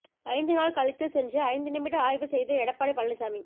ஐந்து நாள் கழித்து சென்று ஐந்து நிமிட ஆய்வு செய்த எடப்பாடி பழனிசாமி